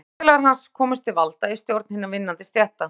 Þegar flokksfélagar hans komust til valda í stjórn hinna vinnandi stétta